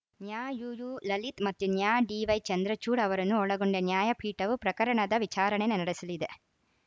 ನ್ಯಾ ಯುಯು ಲಲಿತ್‌ ಮತ್ತು ನ್ಯಾ ಡಿವೈ ಚಂದ್ರಚೂಡ್‌ ಅವರನ್ನು ಒಳಗೊಂಡ ನ್ಯಾಯಪೀಠವು ಪ್ರಕರಣದ ವಿಚಾರಣೆ ನಡೆಸಲಿದೆ